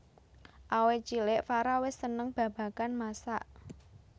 Awit cilik Farah wis seneng babagan masak